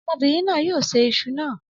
Ọmọbìnrin náà yóò ṣe Isu náà